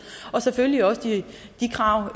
og selvfølgelig også krav